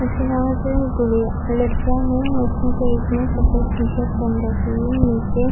उसके अलावा जो गुड़िया लड़कियां है उसमे से एक ने सफेद टी-शर्ट पहन रखी है नीचे --